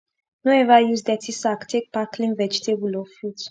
no ever use dirty sack take pack clean vegetable or fruit